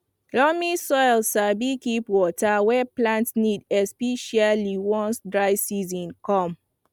loamy soil sabi keep water wey plant need especially once dry season come